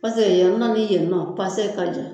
ni yennɔ pase ka jan